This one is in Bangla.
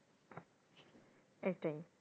এটাই,